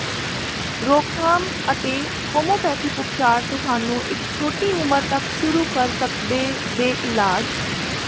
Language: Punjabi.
ਰੋਕਥਾਮ ਅਤੇ ਹੋਮੋਪੈਥਿਕ ਉਪਚਾਰ ਤੁਹਾਨੂੰ ਇੱਕ ਛੋਟੀ ਉਮਰ ਤੱਕ ਸ਼ੁਰੂ ਕਰ ਸਕਦੇ ਦੇ ਇਲਾਜ